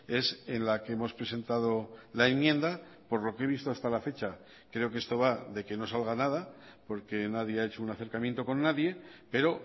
es en la que hemos presentado la enmienda por lo que he visto hasta la fecha creo que esto va de que no salga nada porque nadie ha hecho un acercamiento con nadie pero